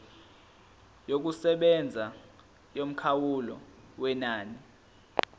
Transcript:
yokusebenza yomkhawulo wenani